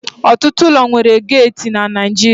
Ọtụtụ ụlọ nwere geeti na Naịjirịa